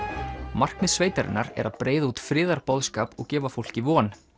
markmið sveitarinnar er að breiða út friðarboðskap og gefa fólki von